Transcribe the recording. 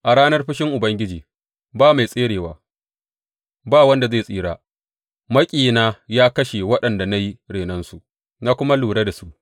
A ranar fushin Ubangiji ba mai tserewa ba wanda zai tsira; maƙiyina ya kashe waɗanda na yi renonsu, na kuma lura da su.